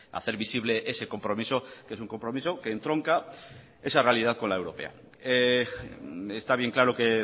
hacer visible ese compromiso que es un compromiso que entronca esa realidad con la europea está bien claro que